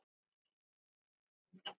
Dyrnar voru enn opnar.